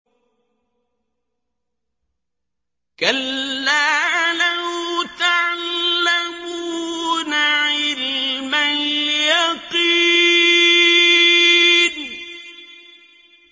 كَلَّا لَوْ تَعْلَمُونَ عِلْمَ الْيَقِينِ